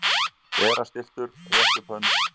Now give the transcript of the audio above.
Vera stilltur- rétta upp hönd